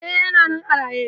E, yana nan a raye.